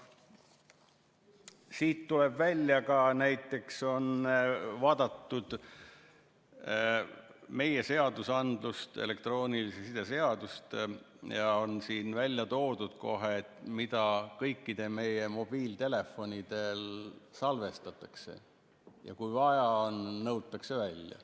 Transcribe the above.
Siit tuleb välja ka näiteks see, et on vaadatud meie seadusandlust, elektroonilise side seadust, ja siin on välja toodud, mida meie kõigi mobiiltelefonidel salvestatakse ja kui vaja on, siis nõutakse välja.